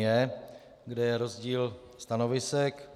J, kde je rozdíl stanovisek.